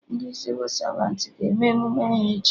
Ndị Sịvụ Savantị ga-eme emume ha echi